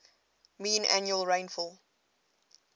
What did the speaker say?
mean annual rainfall